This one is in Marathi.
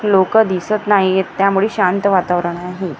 लोकं दिसत नाहीयेत त्यामुळे शांत वातावरण आहे.